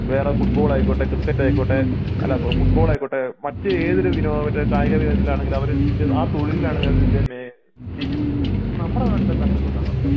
വേറെ ഫുട്ബോൾ ആയിക്കോട്ടെ ക്രിക്കറ്റ് ആയിക്കോട്ടെ അല്ല ഫുട്ബാൾ ആയിക്കോട്ടെ മറ്റ് ഏതൊരു വിനോദ കായിക വിനോദത്തിലാണെങ്കിലും അവർ വിദ്യ ആ തൊഴിലിനാണ് അവർ വല്യ നമ്മുടെ നാട്ടിൽ എന്താ അങ്ങിനെ ഒന്നും കാണാതെ